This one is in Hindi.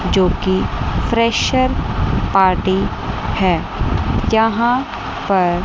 जो की फ्रेशर पार्टी है यहां पर--